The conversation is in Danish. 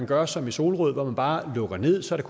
gøre som i solrød hvor man bare lukker ned så der